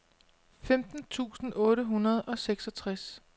femten tusind otte hundrede og seksogtres